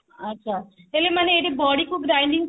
ଆଚ୍ଛା ହେଲେ ମାନେ ଏଠି ବଢି କୁ grinding